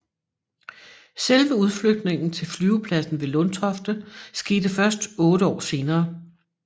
Selve udflytningen til flyvepladsen ved Lundtofte skete først 8 år senere